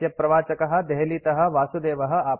अस्यप्रवाचकः देहलीतः वासुदेवः आपृच्छति